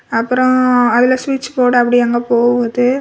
அப்புறம் ம் அதுல சுவிட்ச் போர்டு அப்படி அங்க போகுது.